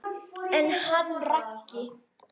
En hann Raggi?